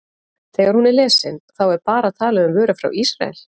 Þegar hún er lesin, þá er bara talað um vörur frá Ísrael?